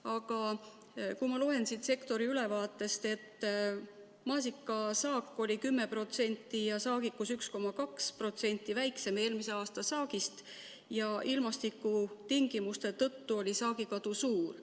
Aga kui ma loen siit sektori ülevaatest, et maasikasaak oli 10% ja saagikus 1,2% väiksem eelmise aasta saagist ja ilmastikutingimuste tõttu oli saagikadu suur.